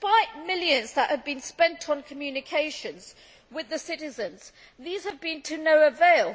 The millions that have been spent on communications with the citizens have been to no avail.